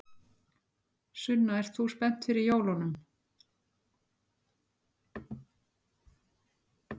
Sunna: Ert þú spennt fyrir jólunum?